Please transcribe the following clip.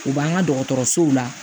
U b'an ka dɔgɔtɔrɔsow la